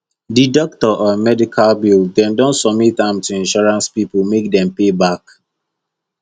the doctor um medical bill dem don submit am to insurance people make dem pay back